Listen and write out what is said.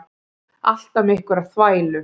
Alltaf með einhverja þvælu.